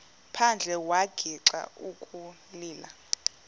phandle wagixa ukulila